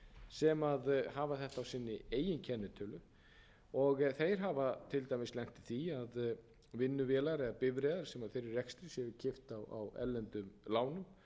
sem hafa þetta á sinni eigin kennitölu og þeir hafa til dæmis lent í því að vinnuvélar eða bifreiðar sem eru í þeirra rekstri séu keypt á erlendum lánum